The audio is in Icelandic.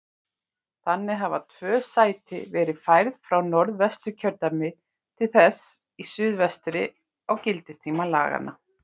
Þannig hafa tvö sæti verið færð frá Norðvesturkjördæmi til þess í suðvestri á gildistíma laganna.